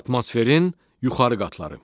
Atmosferin yuxarı qatları.